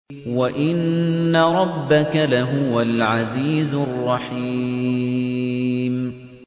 وَإِنَّ رَبَّكَ لَهُوَ الْعَزِيزُ الرَّحِيمُ